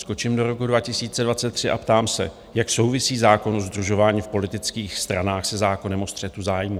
Skočím do roku 2023 a ptám se: Jak souvisí zákon o sdružování v politických stranách se zákonem o střetu zájmu?